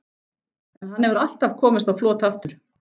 En hann hefur alltaf komist á flot aftur.